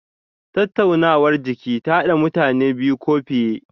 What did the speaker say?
Tattaunawar jiki ta hada mutane biyu ko fiye.